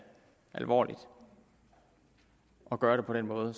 alvorligt at gøre det på den måde